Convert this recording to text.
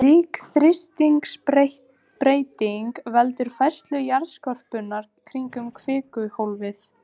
Slík þrýstingsbreyting veldur færslu jarðskorpunnar kringum kvikuhólfið.